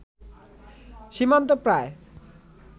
সীমান্ত প্রায়